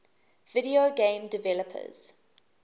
video game developers